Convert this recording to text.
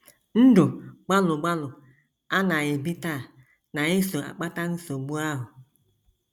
Ndụ gbalụ gbalụ a na - ebi taa na - eso akpata nsogbu ahụ.